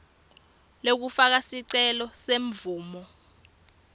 lekufaka sicelo semvumo